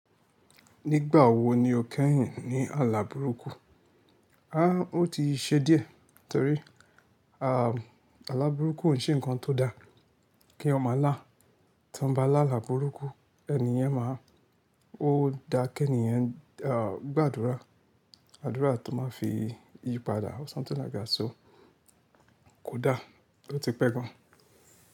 Nígbà wo ni o kẹ́yìn ní àlà burúkú? Áà o ti ṣe díẹ̀ torí erm àlà burúkú ò ṣe ǹkan tó da kí ọmọ là. Tí wọ́n bá là àlà burúkú ènìyẹn máa, ó ń da kí ènìyàn à gbàdúrà. Àdúrà tó máa fi yípadà or something like that so. Kò da oti pẹ́ gan.